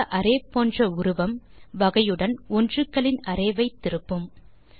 கொடுத்த அரே போன்ற உருவம் வகையுடன் ஒன்றுகளின் அரே ஐ திருப்பும்